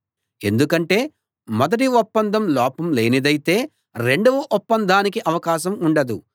ఎందుకంటే మొదటి ఒప్పందం లోపం లేనిదైతే రెండవ ఒప్పందానికి అవకాశం ఉండదు